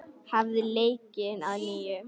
Hafið leikinn að nýju.